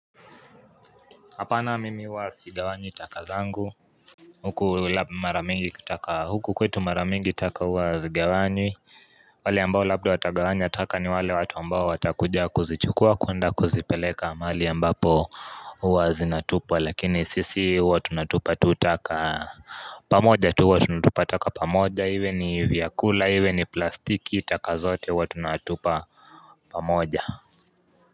Apana mimi huwa sigawanyi taka zangu Huku mara mingi taka huku kwetu mara mingi taka huwa hazigawanywi wale ambao labda watagawanya taka ni wale watu ambao watakuja kuzichukua kuenda kuzipeleka mahali ambapo huwa zinatupwa lakini sisi huwa tunatupa tu taka pamoja tu huwa tunatupa taka pamoja iwe ni vyakula iwe ni plastiki taka zote huwa tunatupa pamoja.